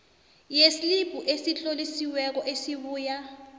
yeslibhu esitlolisiweko esibuya